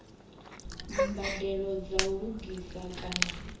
mbadelo dza u lugisa kana